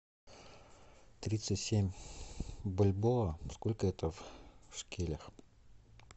тридцать семь бальбоа сколько это в шекелях